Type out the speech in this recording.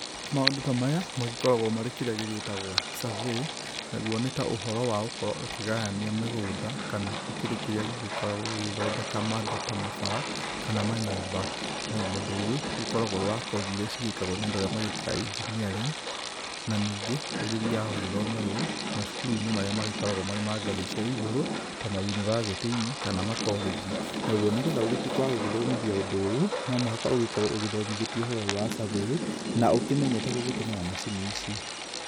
Maũndũ ta maya magĩkoragwo marĩ kĩrĩa gĩĩtagwo survey. Naguo nĩ ta ũhoro wa gũkorwo ũkĩgayania mĩgũnda kana, gũkĩrĩ kĩrĩa gĩgĩkoragwo gĩgĩthondeka maũndũ ta mabara kana manyũmba. Rĩu mũndũ ũyũ ũgĩkoragwo wĩ wa kothi iria cigĩĩkagwo na andũ arĩa magĩĩkaga engineering, na ningĩ, ũgĩthiaga gũgĩthomerwo macukuru-inĩ marĩa magĩkoragwo ma ngathĩ iria cia igũrũ ta mayunibacĩtĩ-inĩ kana makorĩnji. Naguo nĩgetha ũgĩtuĩke wa gũgĩthomithia ũndũ ũyũ, no mũhaka ũgĩkorwo ũgĩthomithĩtio ũhoro ũyũ wa survey na ũkĩmenyete gũgĩtũmĩra macini ici.